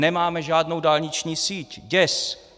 Nemáme žádnou dálniční síť, děs!